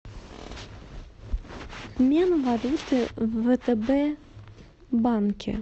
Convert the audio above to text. обмен валюты в втб банке